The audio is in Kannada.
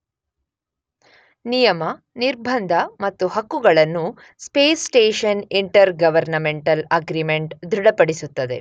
ನಿಯಮ, ನಿರ್ಬಂಧ ಮತ್ತು ಹಕ್ಕುಗಳನ್ನು space station intergovernmental agreement ದೃಢಪಡಿಸುತ್ತದೆ.